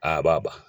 Aa ba